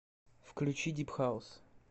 включи дип хаус